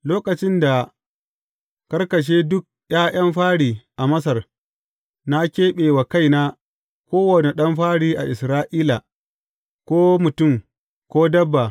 Lokacin da karkashe duk ’ya’yan fari a Masar, na keɓe wa kaina kowane ɗan fari a Isra’ila, ko mutum, ko dabba.